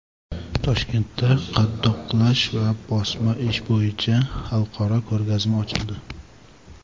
Toshkentda qadoqlash va bosma ishi bo‘yicha xalqaro ko‘rgazma ochildi.